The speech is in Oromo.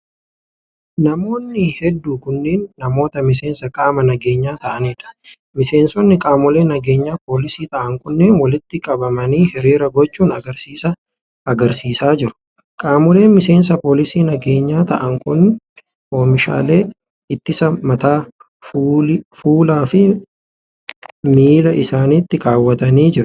Namoonni hedduu kunneen, namoota miseensa qaama nageenyaa ta'anii dha. Miseensonni qaamolee nageenyaa poolisii ta'an kunneen, walitti qabanii hiriira gochuun agarsiisa agarsiisaa jiru. Qaamoleen miseensa poolisii nageenyaa ta'an kun, oomishaalee ittisaa mataa, fuula fi miila isaanitti kaawwatanii jiru.